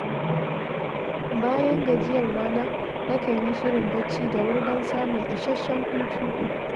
Bayan gajiyar rana, nakan yi shirin barci da wuri don samun isasshen hutu.